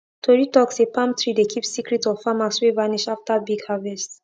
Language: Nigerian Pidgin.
tori talk say palm tree dey keep secret of farmers wey vanish after big harvest